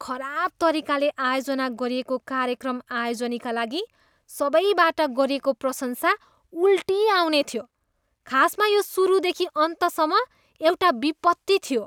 खराब तरिकाले आयोजना गरिएको कार्यक्रम आयोजनीका लागि सबैबाट गरिएको प्रशंसा उल्टी आउने थियो, खासमा यो सुरुदेखि अन्तसम्म एउटा विपत्ति थियो।